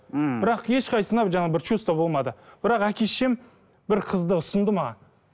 мхм бірақ ешқайсысына жаңа бір чувство болмады бірақ әке шешем бір қызды ұсынды маған